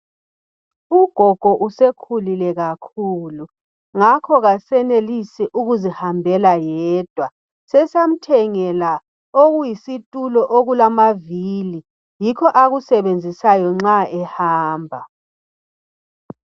Ugogo usekhulile kakhulu, ngakho kasenelisi ukuzihambela yedwa. Sesamthengela okuyisitulo okulamavili yikho akusebenzisayo nxa ehamba.